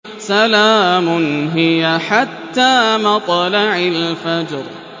سَلَامٌ هِيَ حَتَّىٰ مَطْلَعِ الْفَجْرِ